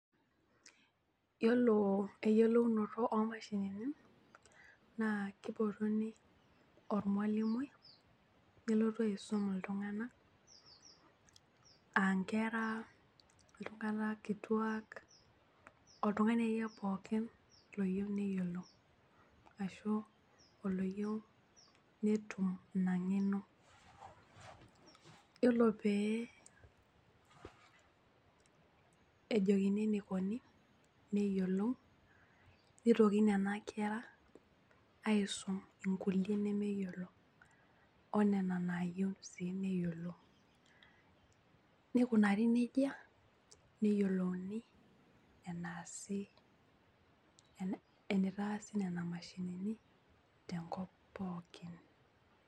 Yiolo eyiolounoto omashinini naa kipotuni ormwalimui nelotu aisum iltunganak , aankera, iltunganak kituaak , oltungani akeyie pookin loyieu neyiolou ashu oloyieu netum ina ngeno . Yiolo pee ejokini enikoni , neyiolou , nitoki nena kera aisum inkulie nemeyiolo onena nayieu sii neyiolou ,nikunari nejia neyiolouni eneasi, enitaasi nena mashinini tenkop pookin.